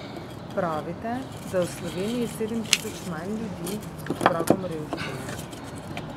Pravite, da je v Sloveniji sedem tisoč manj ljudi pod pragom revščine.